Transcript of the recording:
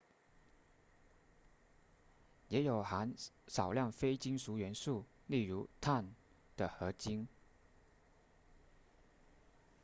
也有含少量非金属元素例如碳的合金